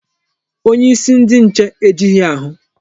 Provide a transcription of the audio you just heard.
Onyeisi ndi nche ejighị ahụ.